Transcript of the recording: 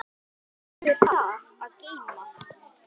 Hvað hefur það að geyma?